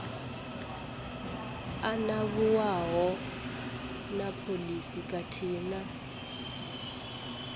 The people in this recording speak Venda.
anavhuwaho na phoisi khathihi na